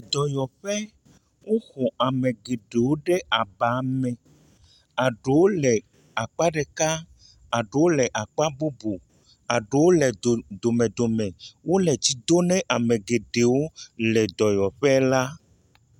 Dɔyɔƒe, woxɔ ame geɖewo ɖe aba me, eɖewo le akpa ɖeka, eɖewo le akpa bubu, eɖewo le dome dome, wole tsi do ne ame geɖewo le dɔyɔƒe la.